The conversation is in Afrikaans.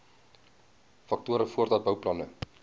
faktore voordat bouplanne